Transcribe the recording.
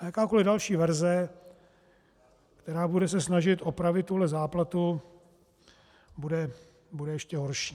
A jakákoli další verze, která se bude snažit opravit tuhle záplatu, bude ještě horší.